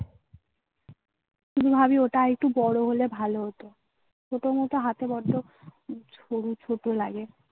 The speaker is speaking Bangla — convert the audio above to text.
ভাবি ওটা একটু বড় হলে ভালো হতো. ছোট মুখে হাতে বড্ড ছোট লাগে.